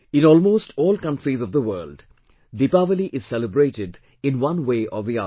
In almost all countries of the world, Deepawali is celebrated in one way or the other